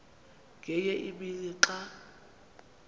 ngenye imini xa